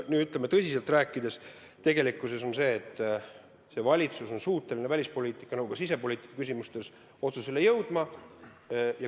Aga kui tõsiselt rääkida, siis tegelikkus on see, et see valitsus on suuteline nii välispoliitika kui ka sisepoliitika küsimustes otsustele jõudma.